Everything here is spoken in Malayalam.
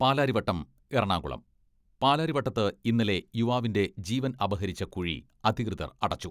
പാലാരിവട്ടം എറണാകുളം പാലാരിവട്ടത്ത് ഇന്നലെ യുവാവിന്റെ ജീവൻ അപഹരിച്ച കുഴി അധികൃതർ അടച്ചു.